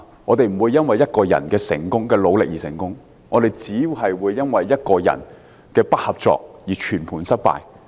我們不會因為一個人的努力而成功，但卻會因為一個人的不合作而全盤失敗。